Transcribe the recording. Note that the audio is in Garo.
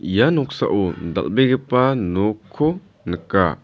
ia noksao dal·begipa nokko nika.